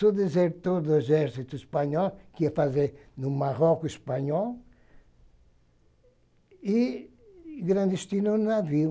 Sou desertor do exército Espanhol, que ia fazer no Marroco o Espanhol, e clandestino no navio.